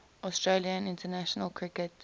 australia in international cricket